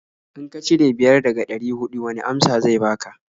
In ka cire biyar daga ɗari huɗu wani amsa zai baka?